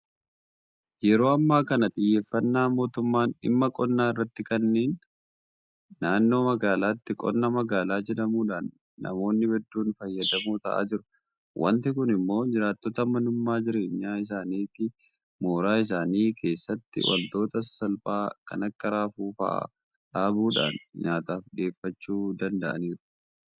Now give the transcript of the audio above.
Yeroo ammaa kana xiyyeeffannaa mootummaan dhimma qonnaa irratti kenneen naannoo magaalaatti qonna magaalaa jedhamuudhaan namoonni hedduun fayyadamoo ta'aa jiru. Waanti kun immoo jiraattonni manuma jireenyaa isaaniitti mooraa isaanii keessatti waantota sasalphaa kan akka raafuu fa'aa dhaabuudhaan nyaataaf dhiyeeffachuu danda'aniiru.